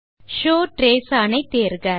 show traces on ஐ தேர்க